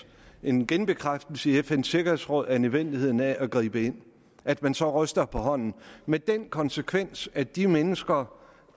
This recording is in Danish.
en genbekræftelse i fns sikkerhedsråd af nødvendigheden af at gribe ind at man så ryster på hånden med den konsekvens at de mennesker